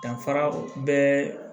Danfara bɛɛ